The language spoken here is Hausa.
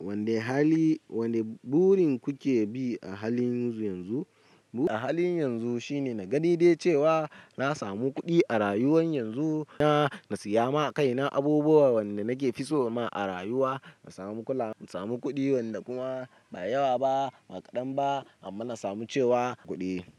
Wane hali, wane burin kuke bi a halin yanzu? A halin yanzu shine na gani dai cewa na samu kuɗi a rayuwar yanzu, na siya ma kaina abubuwan wanda nake fitso ma a rayuwa. Na samu kula, na samu kuɗi wanda kuma ba yawa ba, ba kaɗan ba amma na samu cewa kuɗi.